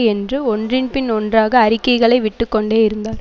என்று ஒன்றின்பின் ஒன்றாக அறிக்கைகளை விட்டுக்கொண்டே இருந்தார்